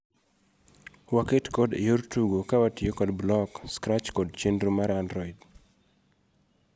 Waket code eyor tugo kawatiyo kod Block ,Scratch kod chenro mar android.